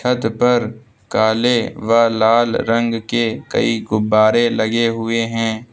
छत पर काले व लाल रंग के कई गुब्बारे लगे हुए हैं।